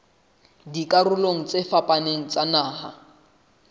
dikarolong tse fapaneng tsa naha